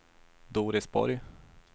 Doris Borg